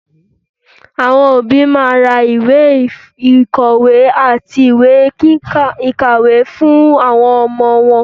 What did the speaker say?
Àwọn òbí máa ra ìwé ìkọ̀wé àti ìwé ìkàwé fún àwọn ọmọ wọn.